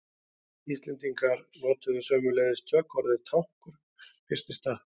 Íslendingar notuðu sömuleiðis tökuorðið tankur fyrst í stað.